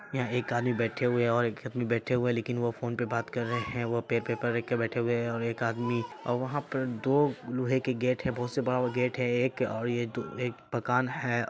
यहाँ एक आदमी बैठे हुए है और एक आदमी बैठे हुए है लेकिन वो फोन पर बात कर रहे है वो पै पेपर रखकर बैठे हुए है। और एक आदमी और वहाँ पर दो लोहै के गेट है बहुत से बड़ा-बड़ा गेट है एक और ये दु--एक मकान है।